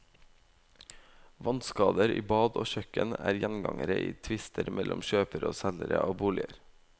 Vannskader i bad og kjøkken er gjengangere i tvister mellom kjøpere og selgere av boliger.